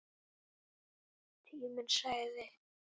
Tíminn sagði: